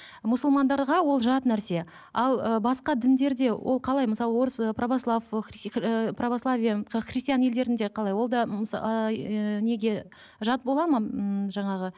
мұсылмандарға ол жат нәрсе ал ы басқа діндерде ол қалай мысалы орыс ы православ ыыы прославия христиан елдерінде қалай ол да ыыы ііі неге жат болады ма ммм жаңағы